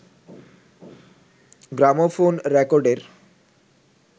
gramophone রেকর্ডের